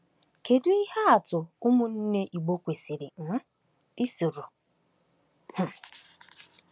Kedu ihe atụ ụmụnne Igbo kwesịrị um isoro? um